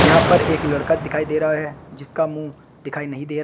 यहां पर एक लड़का दिखाई दे रहा है जिसका मुंह दिखाई नहीं दे रहा--